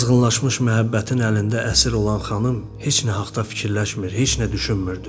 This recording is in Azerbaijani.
Bu azğınlaşmış məhəbbətin əlində əsir olan xanım heç nə haqda fikirləşmir, heç nə düşünmürdü.